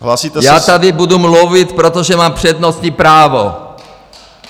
Já tady budu mluvit, protože mám přednostní právo!